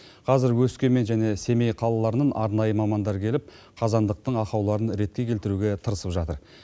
қазіргі өскемен және семей қалаларынан арнайы мамандар келіп қазандықтың ақауларын ретке келтіруге тырысып жатыр